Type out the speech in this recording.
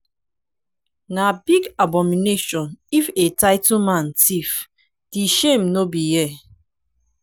na big abomination if a title man thief di shame no be here.